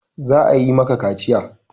Za a yi maka kaciya!